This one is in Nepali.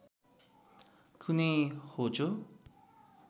कुनै होचो